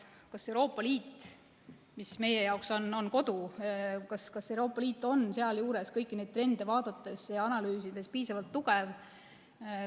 Kas Euroopa Liit, mis meie jaoks on kodu, on sealjuures kõiki neid trende vaadates ja analüüsides piisavalt tugev?